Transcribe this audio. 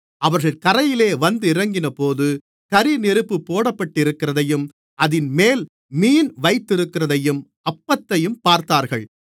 அவர்கள் கரையிலே வந்திறங்கினபோது கரிநெருப்புப் போட்டிருக்கிறதையும் அதின்மேல் மீன் வைத்திருக்கிறதையும் அப்பத்தையும் பார்த்தார்கள்